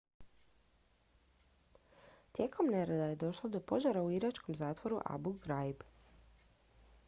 tijekom nereda je došlo do požara u iračkom zatvoru abu ghraib